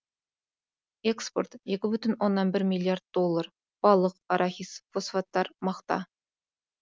экспорт екі бүтін оннан бір миллиард доллар балық арахис фосфаттар мақта